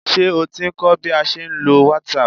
Ṣé o ti ń kọ́ bí a ṣe ń lo whatsapp?